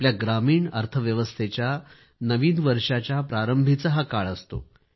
आपल्या ग्रामीण अर्थव्यवस्थेच्या नवीन वर्षाच्या प्रारंभाचा हा काळ असतो